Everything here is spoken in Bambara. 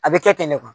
A bɛ kɛ ten ne